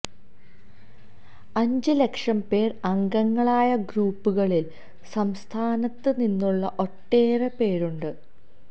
അഞ്ച് ലക്ഷം പേർ അംഗങ്ങളായ ഗ്രൂപ്പുകളിൽ സംസ്ഥാനത്ത് നിന്നുള്ള ഒട്ടേറെ പേരുണ്ട്